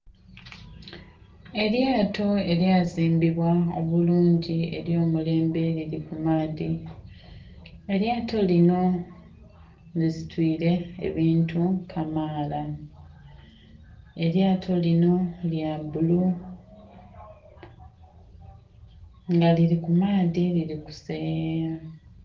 Elyato elya zimbibwa obulungi elyo mulembe lili ku maadhi, elyato linho lisitwire ebintu kamaala. Elyato linho lya bulu nga lili ku maadhi lili kuseyeya.